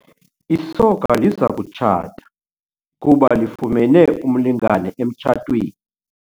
Isoka liza kutshata kuba lifumene umlingane emtshatweni.